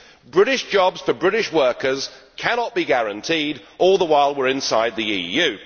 British jobs for British workers cannot be guaranteed all the while we are inside the EU.